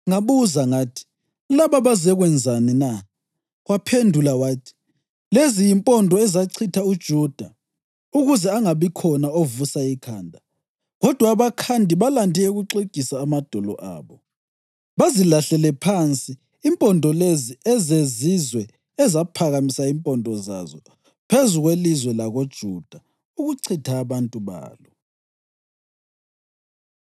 Ngabuza ngathi, “Laba bazekwenzani na?” Waphendula wathi, “Lezi yimpondo ezachitha uJuda ukuze angabikhona ovusa ikhanda, kodwa abakhandi balande ukuxegisa amadolo abo, bazilahlele phansi impondo lezi ezezizwe ezaphakamisa impondo zazo phezu kwelizwe lakoJuda ukuchitha abantu balo.”